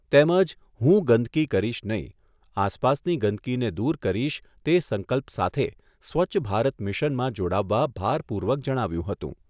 તેમજ હું ગંદકી કરીશ નહિ, આસપાસની ગંદકીને દૂર કરીશ તે સંકલ્પ સાથે સ્વચ્છ ભારત મિશનમાં જોડાવવા ભારપૂર્વક જણાવ્યુંં હતું.